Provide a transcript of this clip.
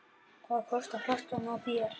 Hvað kostar flaskan hjá þér?